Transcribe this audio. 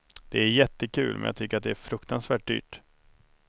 Det är jättekul, men jag tycker att det är fruktansvärt dyrt.